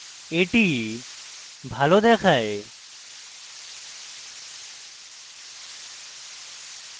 that ভালো দেখায়